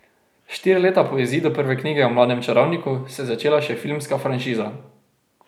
Štiri leta po izidu prve knjige o mlademu čarovniku se je začela še filmska franšiza.